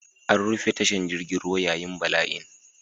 An rufe tashar jirgin ruwa yayin bala'in.